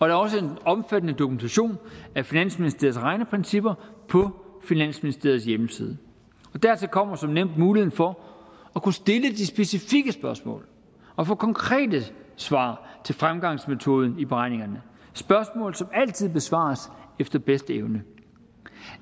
er også en omfattende dokumentation af finansministeriets regneprincipper på finansministeriets hjemmeside dertil kommer som nævnt muligheden for at kunne stille de specifikke spørgsmål og få konkrete svar til fremgangsmetoden i beregningerne spørgsmål som altid besvares efter bedste evne